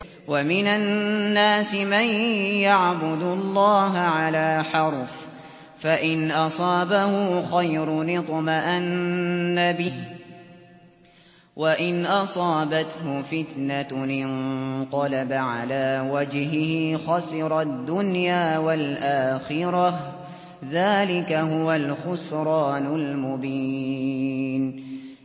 وَمِنَ النَّاسِ مَن يَعْبُدُ اللَّهَ عَلَىٰ حَرْفٍ ۖ فَإِنْ أَصَابَهُ خَيْرٌ اطْمَأَنَّ بِهِ ۖ وَإِنْ أَصَابَتْهُ فِتْنَةٌ انقَلَبَ عَلَىٰ وَجْهِهِ خَسِرَ الدُّنْيَا وَالْآخِرَةَ ۚ ذَٰلِكَ هُوَ الْخُسْرَانُ الْمُبِينُ